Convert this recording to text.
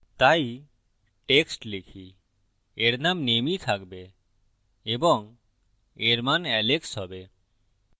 তাই text লিখি এর name name is থাকবে এবং এর মান alex হবে